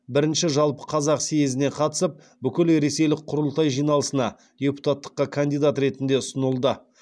бірінші жалпықазақ съезіне қатысып бүкілресейлік құрылтай жиналысына депутаттыққа кандидат ретінде ұсынылды